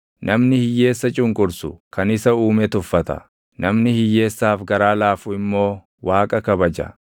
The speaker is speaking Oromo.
Namni hiyyeessa cunqursu kan isa Uume tuffata; namni hiyyeessaaf garaa laafu immoo Waaqa kabaja.